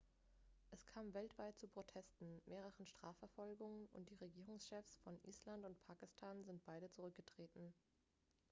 es kam weltweit zu protesten mehreren strafverfolgungen und die regierungschefs von island und pakistan sind beide zurückgetreten